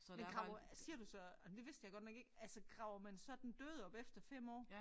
Men graver siger du så ej det vidste jeg godt nok ikke altså graver man så den døde op efter 5 år